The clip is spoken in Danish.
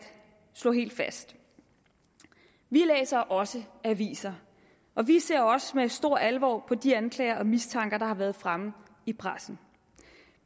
slå noget helt fast vi læser også aviser og vi ser også med stor alvor på de anklager og mistanker der har været fremme i pressen